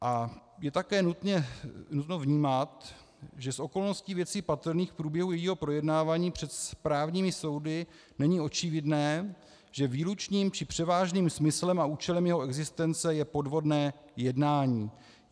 A je také nutno vnímat, že z okolností věcí patrných v průběhu jejího projednávání před správními soudy není očividné, že výlučným či převážným smyslem a účelem jeho existence je podvodné jednání.